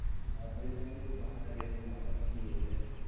Thambĩria nyũmba ageni matakinyĩte